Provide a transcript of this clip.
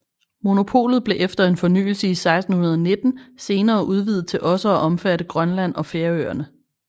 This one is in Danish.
Monopolet blev efter en fornyelse i 1619 senere udvidet til også at omfatte Grønland og Færøerne